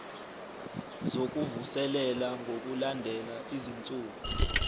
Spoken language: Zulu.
zokuvuselela ngokulandela izinsuku